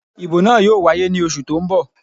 Ìbò náà yóò wáyé ní oṣù tó n bọ̀